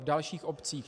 V dalších obcích?